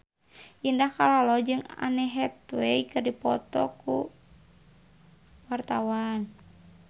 Indah Kalalo jeung Anne Hathaway keur dipoto ku wartawan